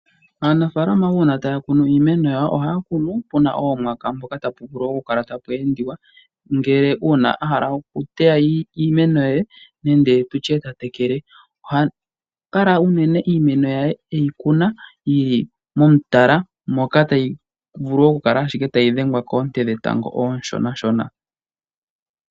Aanafalama uuna taya kunu iimeno yawo ohaya kunu puna oomwaka mpoka tapu vulu okukala tapu endiwa, ngele uuna a hala okuteya iimeno ye nenge tu tye ta tekele. Oha kala unene iimeno yaye eyi kuna yili momutala moka tayi vulu ashike okudhengwa koonte dhetango ooshonashona.